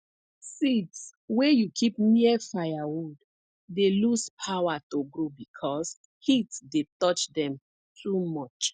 seeds wey you keep near firewood dey lose power to grow because heat dey touch dem too much